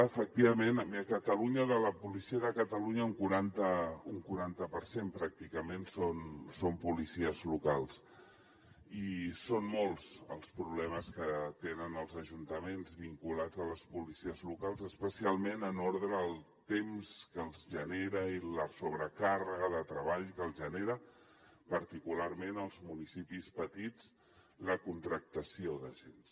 efectivament a catalunya de la policia de catalunya un quaranta per cent pràcticament són policies locals i són molts els problemes que tenen els ajuntaments vinculats a les policies locals especialment en ordre al temps que els genera i la sobrecàrrega de treball que els genera particularment als municipis petits la contractació d’agents